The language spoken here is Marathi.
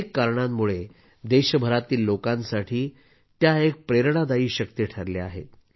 अनेक कारणांमुळे देशभरातील लोकांसाठी त्या एक प्रेरणादायी शक्ती ठरल्या आहेत